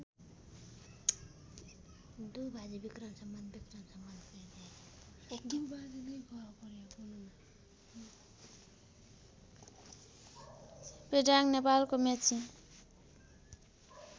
पेदाङ नेपालको मेची